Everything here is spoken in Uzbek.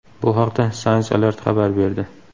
Bu haqda Science Alert xabar berdi.